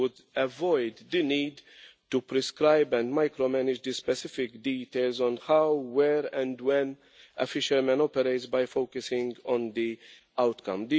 This would avoid the need to prescribe and micro manage the specific details of how, where and when a fisherman operates by focusing on the outcome.